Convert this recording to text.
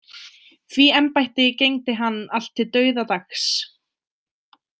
Því embætti gegndi hann allt til dauðadags.